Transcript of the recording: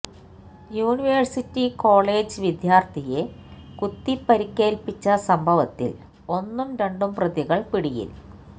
university college വിദ്യാർത്ഥിയെ കുത്തിപ്പരിക്കേൽപ്പിച്ച സംഭവത്തിൽ ഒന്നും രണ്ടും പ്രതികൾ പിടിയിൽ